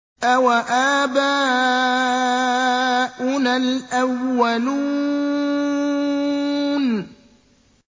أَوَآبَاؤُنَا الْأَوَّلُونَ